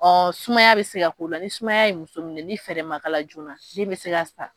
Ɔ sumaya bɛ se ka k'o la ni sumaya ye muso minɛ ni fɛɛrɛ ma k'a la joona den bɛ se ka sa